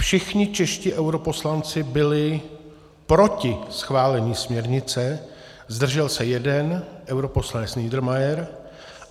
Všichni čeští europoslanci byli proti schválení směrnice, zdržel se jeden - europoslanec Niedermayer.